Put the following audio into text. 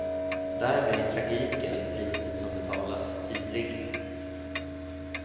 Där blir tragiken, priset som betalas, tydlig.